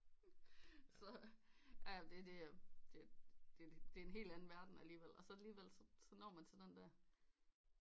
Så det er en helt anden verden alligevel og så alligevel når man til den der